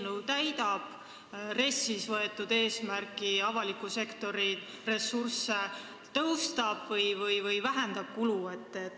Kas see täidab RES-is võetud eesmärki avaliku sektori kulusid vähendada?